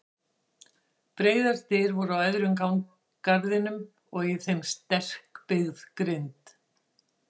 Breiðar dyr voru á öðrum garðinum og í þeim sterkbyggð grind.